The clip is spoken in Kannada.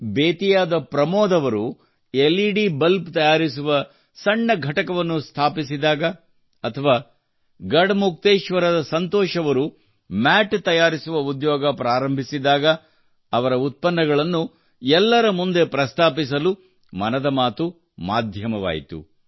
ಬೆತಿಯಾದ ಪ್ರಮೋದ್ ಅವರು ಎಲ್ ಇ ಡಿ ಬಲ್ಬ್ ತಯಾರಿಸುವ ಸಣ್ಣ ಘಟಕವನ್ನು ಸ್ಥಾಪಿಸಿದಾಗ ಅಥವಾ ಗಡಮುಕ್ತೇಶ್ವರದ ಸಂತೋಷ್ ಅವರು ಮ್ಯಾಟ್ ತಯಾರಿಸುವ ಉದ್ಯೋಗ ಪ್ರಾರಂಭಿಸಿದಾಗ ಅವರ ಉತ್ಪನ್ನಗಳನ್ನು ಎಲ್ಲರ ಮುಂದೆ ಪ್ರಸ್ತಾಪಿಸಲು ಮನದ ಮಾತು ಮಾಧ್ಯಮವಾಯಿತು